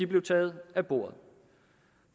blev taget af bordet